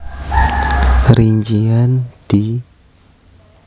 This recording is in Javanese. Rincian di